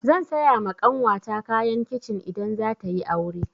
Zan saya ma ƙanwata kayan kicin idan zata yi aure.